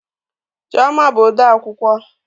Chioma bụ odeakwụkwọ